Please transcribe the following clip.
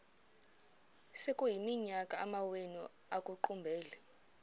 sekuyiminyaka amawenu ekuqumbele